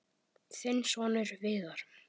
Þinn sonur, Viðar.